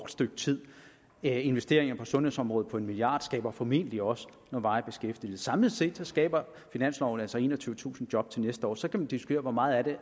stykke tid investeringer på sundhedsområdet på en milliard kroner skaber formentlig også varig beskæftigelse samlet set skaber finansloven altså enogtyvetusind job til næste år så kan man diskutere hvor meget af det